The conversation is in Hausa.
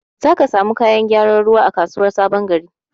Zaka iya samun kayan gyaran ruwa a kasuwar sabon gari.